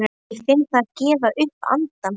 Ég finn það gefa upp andann.